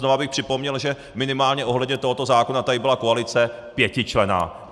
Znova bych připomněl, že minimálně ohledně tohoto zákona tady byla koalice pětičlenná.